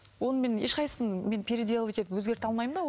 оны мен ешқайсысын мен переделывать етіп өзгерте алмаймын да ол